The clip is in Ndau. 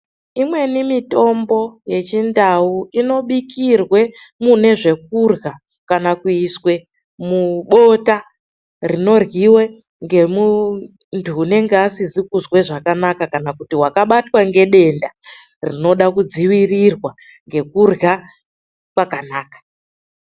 Imweni mitombo yechindau inobikirwa mune zvekurya kana kuiswa mubota rinoryiwe ngemuntu anenge asiri kunzwa zvakanaka kana akabatwa negedenda rinoda kudzivirirwa nekurya kwakanaka.